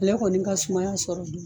Ne kɔni ka sumaya sɔrɔli